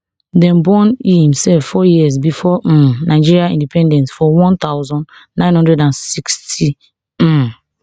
dem born e himself four years before um nigeria independence for one thousand, nine hundred and sixty um